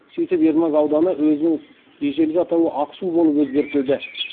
сөйтіп ермак ауданы өзінің ежелгі атауы ақсу болып өзгертілді